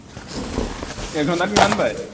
এঘন্টাত কিমান পায়